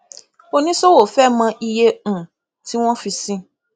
oníṣòwò fẹ mọ iye um tí wọn fi sí